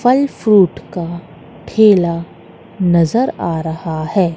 फल फ्रूट का ठेला नजर आ रहा है।